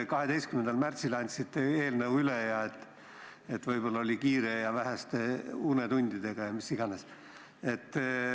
12. märtsil andsite eelnõu üle – võib-olla oli kiire, see sai tehtud väheste unetundidega ja mis iganes.